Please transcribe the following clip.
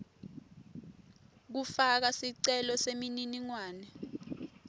kufaka sicelo semininingwane